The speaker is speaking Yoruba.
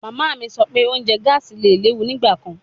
Mama mi sọ pe ounjẹ gaasi le lewu nigbakan